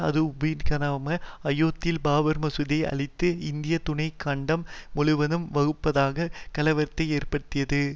அது உபி நகரான அயோத்தியில் பாபர் மசூதியை அழித்தது இந்திய துணை கண்டம் முழுவதும் வகுப்புவாத கலவரத்தை ஏற்படுத்தியது